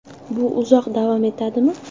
Bu uzoq davom etadimi?